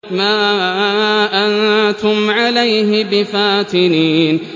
مَا أَنتُمْ عَلَيْهِ بِفَاتِنِينَ